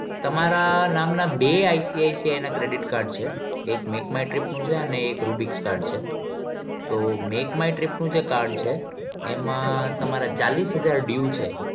તમારા નામના બે ICICI ના credit card છે એક makemytrip નું છે અને એક rubyx card છે તો make my trip નું જે card છે એમાં તમારા ચાલીશ હજાર due છે.